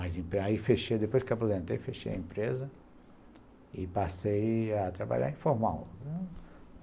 Mais em pé, aí fechei, depois que apresentei, fechei a empresa e passei a trabalhar informal.